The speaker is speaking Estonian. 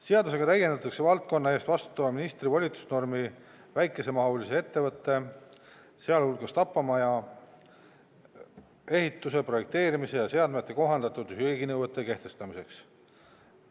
Seadusega täiendatakse valdkonna eest vastutava ministri volitusnormi väikesemahulise ettevõtte, sealhulgas tapamaja, ehituse, projekteerimise ja seadmete kohandatud hügieeninõuete kehtestamiseks.